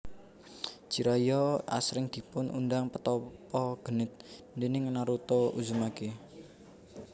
Jiraiya asring dipun undang Petapa Genit déning Naruto Uzumaki